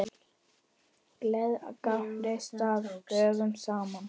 Gleðir gátu staðið dögum saman.